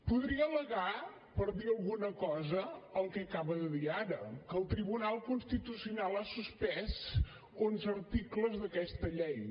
podria al·legar per dir alguna cosa el que acaba de dir ara que el tribunal constitucional ha suspès onze articles d’aquesta llei